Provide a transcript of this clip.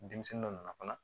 Denmisɛnnin dɔ nana fana